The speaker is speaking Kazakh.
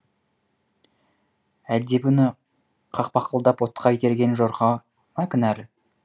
әлде бұны қақпақылдап отқа итерген жорға ма кінәлі